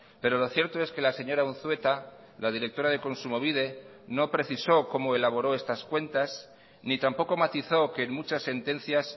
pero lo cierto es que la señora unzueta la directora de kontsumobide no precisó como elaboró estas cuentas ni tampoco matizó que en muchas sentencias